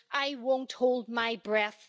I won't hold my breath.